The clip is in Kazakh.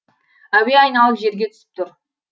әуе айналып жерге түсіп тур